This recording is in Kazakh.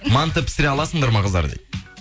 манты пісіре аласыңдар ма дейді қыздар дейді